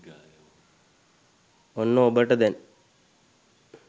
ඔන්න ඔබට දැන්